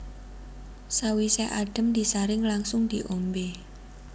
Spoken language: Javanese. Sawisé adhem disaring langsung diombé